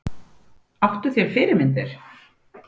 Áttu þér fyrirmyndir?